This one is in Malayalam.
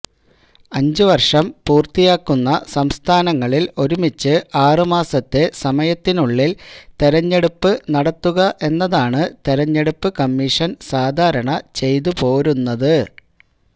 അഞ്ചു വര്ഷം പൂര്ത്തിയാക്കുന്ന സംസ്ഥാനങ്ങളില് ഒരുമിച്ച് ആറുമാസത്തെ സമയത്തിനുള്ളില് തെരഞ്ഞെടുപ്പ് നടത്തുക എന്നതാണ് തെരഞ്ഞെടുപ്പ് കമ്മീഷന് സാധാരണ ചെയ്തു പോരുന്നത്